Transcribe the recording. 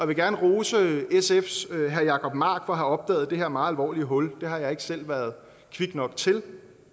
vil gerne rose sfs herre jacob mark for at have opdaget det her meget alvorlige hul det har jeg ikke selv været kvik nok til